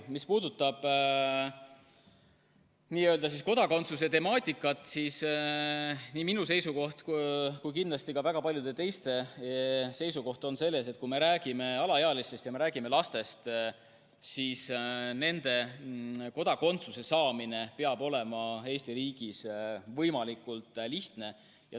Mis puudutab kodakondsuse temaatikat, siis nii minu seisukoht kui kindlasti ka väga paljude teiste seisukoht on see, et kui me räägime alaealistest ja lastest, siis neil peab kodakondsuse saamine Eesti riigis olema võimalikult lihtne.